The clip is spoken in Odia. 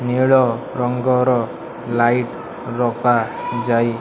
ନୀଳ ରଙ୍ଗର ଲାଇଟ୍ ଲଗା ଯାଇ --